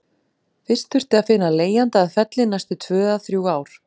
Fyrst þurfti að finna leigjanda að Felli næstu tvö eða þrjú ár.